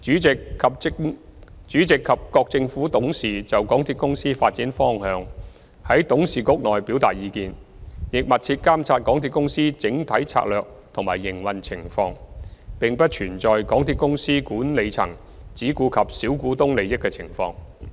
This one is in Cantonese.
主席及各政府董事就港鐵公司發展方向在董事局內表達意見，亦密切監察港鐵公司整體策略及營運情況，並不存在港鐵公司管理層只顧及小股東利益的情況。